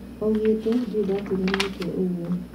Augete ,"Ndirĩ ndaturwo nĩ mũtwe ũguo"